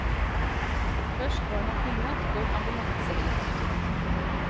Først var han pilot på et ambulansehelikopter.